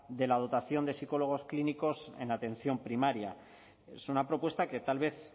de la dotación de psicólogos clínicos en atención primaria es una propuesta que tal vez